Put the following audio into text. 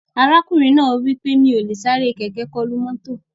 Ọkùnrin náà wí pé "Mi ò lè sáré kẹ̀kẹ́ kọlu mọ́tò"